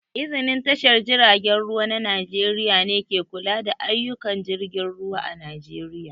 Iznin tashar jiragen ruwa na Najeriƴa ne ke kula da ayyuƙan jirgin ruwa a Najeriƴa